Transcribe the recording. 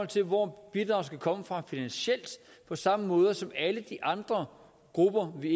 til hvor bidraget skal komme fra finansielt på samme måde som med alle de andre grupper vi